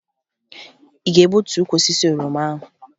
Ị ga-egbutu ukwu osisi oroma ahụ?